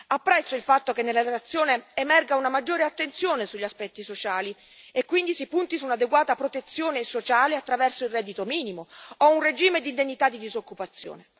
Apprezzo il fatto che nella relazione emerga una maggiore attenzione sugli aspetti sociali, e quindi si punti su un'adeguata protezione sociale attraverso il reddito minimo o un regime di indennità di disoccupazione.